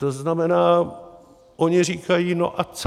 To znamená, oni říkají: No a co?